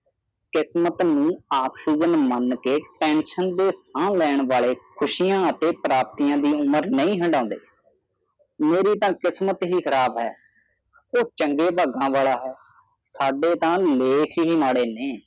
ਕਿਸਮਤ ਨੂੰ ਆਕਸੀਜਨ ਮਨ ਕੇ ਟੈਸੰਨ ਦੇ ਸਾਹ ਲੈਣ ਵਾਲੇ ਖੁਸ਼ੀਆਂ ਅਤੇ ਪ੍ਰਾਪਤੀਆਂ ਦੀ ਉਮਰ ਨਹੀਂ ਹਾਦੜੇ ਮਾਰੀ ਤਾ ਕਿਸਮਤ ਹੀ ਖਰਾਬ ਹੈ ਉਹ ਚੰਗੇ ਭਾਗਾ ਵਾਲਾ ਹੈ